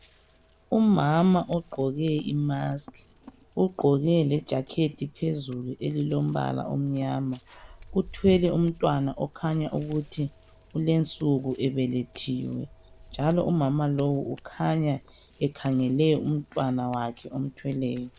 Umama ugqoke imask, ugqoke lejakhethi phezulu elilombala omnyama. Uthwele umntwana okhanya ukuthi ulensuku ebelethiwe. Njalo umama lo ukhanya ekhangele umntwana wakhe omthweleyo.